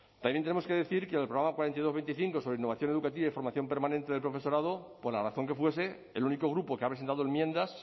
también tenemos que decir que en el programa cuatro mil doscientos veinticinco sobre innovación educativa y formación permanente del profesorado por la razón que fuese el único grupo que ha presentado enmiendas